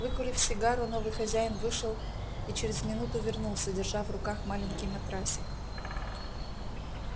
выкурив сигару новый хозяин вышел и через минуту вернулся держа в руках маленький матрасик